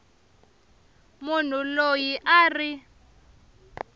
munhu loyi a a ri